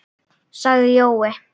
sagði Jói.